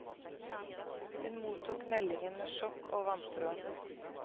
Hun mottok meldingen med sjokk og vantro.